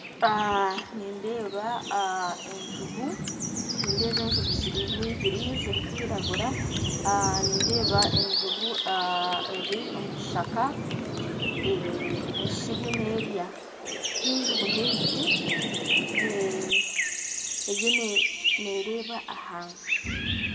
Nindeba enjubu, nindeba enjubu nibiri zirikwiragura, nindeba enjubu eri omukishaka nesha eriyon'erya, n'enjubu nibiri eriyo nereba ahansi.